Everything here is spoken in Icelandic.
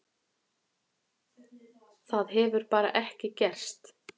Það hefur bara ekki gerst.